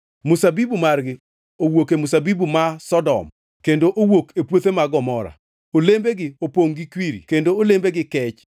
Mzabibu margi wuok e mzabibu ma Sodom kendo wuok e puothe mag Gomora. Olembegi opongʼ gi kwiri kendo olembegi kech.